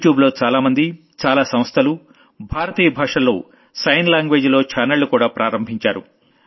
YouTube లో చాలామంది చాలా సంస్థలు భారతీయ భాషల్లో సైన్ లాంగ్వేజ్ లో ఛానళ్లుకూడా ప్రారంభించారు